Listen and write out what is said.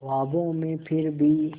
ख्वाबों में फिर भी